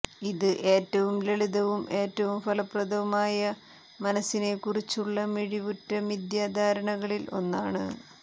ഇത് ഏറ്റവും ലളിതവും ഏറ്റവും ഫലപ്രദവുമായ മനസ്സിനെക്കുറിച്ചുള്ള മിഴിവുറ്റ മിഥ്യാധാരണകളിൽ ഒന്നാണ്